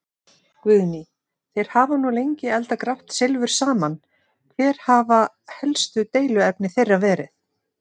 Guðný: Þeir hafa nú lengi eldað grátt silfur saman, hver hafa helstu deiluefni þeirra verið?